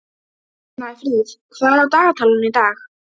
Snæfríð, hvað er á dagatalinu í dag?